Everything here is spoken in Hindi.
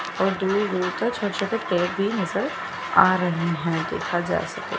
और दूर दूर तक छोटे छोटे पेड़ भी नजर आ रहे हैं देखा जाए तो--